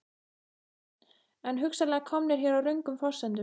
Björn: En hugsanlega komnir hér á röngum forsendum?